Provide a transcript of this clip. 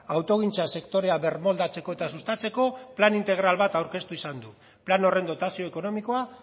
autogintza sektorea birmoldatzeko eta sustatzeko plan integral bat aurkeztu izan du plan horren dotazio ekonomikoa